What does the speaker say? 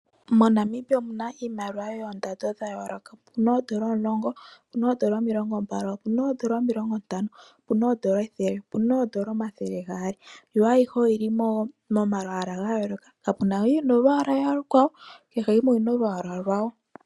MoNamibia omuna iimaliwa yoondando dha yooloka. Opuna oodola omulongo, opuna oodola omilongo mbali, opuna oodola omilongo ntano, opuna oodola ethele, opuna oodola omathele gaali yo ayihe oyili momalwaala ga yooloka. Kapuna mbi yili molwaala olukwawo.